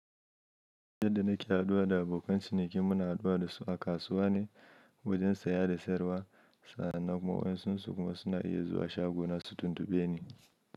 Yanda nake haɗuwa da abokan ciniki muna haɗuwa da su a kasuwa ne, wajen saye da sayarwa sannan kuma wa'yansun su kuma suna yi zuwa shago na su tuntuɓe ni.